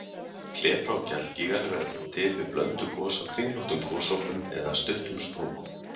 Klepra- og gjallgígar verða til við blönduð gos á kringlóttum gosopum eða stuttum sprungum.